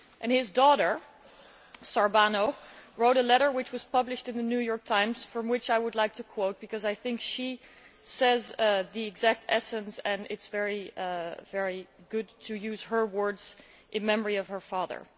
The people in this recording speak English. His daughter, Shehrbano, wrote a letter which was published in The New York Times from which I would like to quote, because I think she gets to the essence and it is very good to use her words in memory of her father.